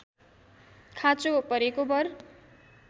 खाँचो परेको बर